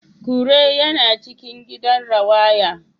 Kure yana cikin gidan rawaya